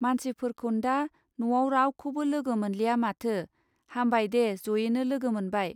मानसिफोरखौन्दा न'आव रावखौबो लोगो मोनलिया माथो! हामबाय दे जयैनो लोगो मोनबाय.